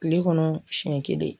Kile kɔnɔ siɲɛ kelen